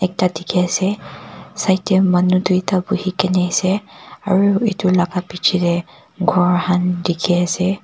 ekta dekhi ase side te manu duita bohe kina ase aru etu laga piche te gour khan dekhi ase.